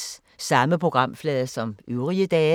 Samme programflade som øvrige dage